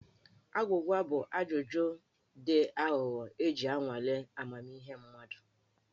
Agwụgwa bụ ajụjụ dị aghụghọ iji nwalee amamihe mmadụ.